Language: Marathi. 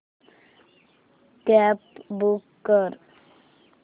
कॅब बूक कर